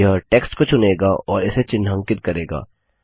यह टेक्स्ट को चुनेगा और इसे चिन्हांकित करेगा